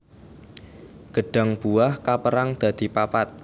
Gêdhang buah kapérang dadi papat